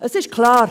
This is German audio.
Es ist klar;